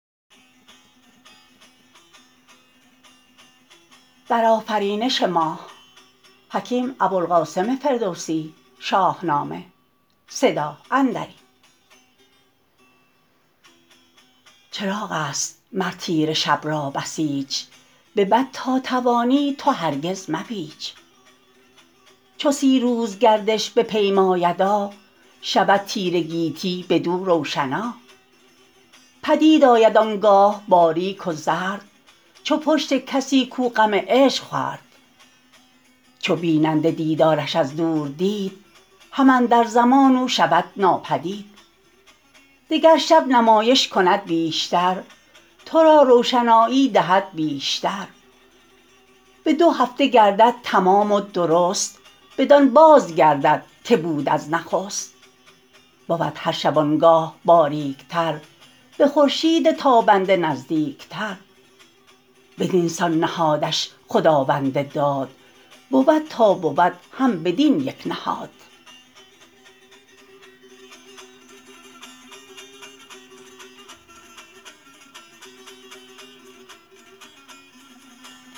چراغ است مر تیره شب را بسیچ به بد تا توانی تو هرگز مپیچ چو سی روز گردش بپیمایدا شود تیره گیتی بدو روشنا پدید آید آنگاه باریک و زرد چو پشت کسی کو غم عشق خورد چو بیننده دیدارش از دور دید هم اندر زمان او شود ناپدید دگر شب نمایش کند بیش تر تو را روشنایی دهد بیش تر به دو هفته گردد تمام و درست بدان باز گردد که بود از نخست بود هر شبانگاه باریک تر به خورشید تابنده نزدیک تر بدینسان نهادش خداوند داد بود تا بود هم بدین یک نهاد